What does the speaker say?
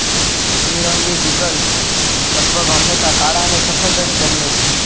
ત્રિરંગી beagles લગભગ હંમેશા કાળા અને સફેદ જ જન્મે છે